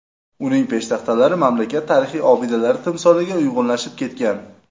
Uning peshtaxtalari mamlakat tarixiy obidalari timsoliga uyg‘unlashib ketgan.